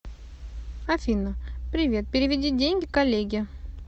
афина привет переведи деньги коллеге